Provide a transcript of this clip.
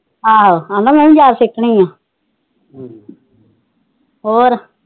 ਆਹੋ ਆਂਦਾ ਮੈ ਸਿਖਣੀ ਆ ਹਮ ਹੋਰ